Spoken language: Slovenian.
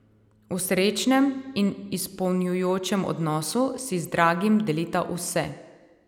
V srečnem in izpolnjujočem odnosu si z dragim delita vse.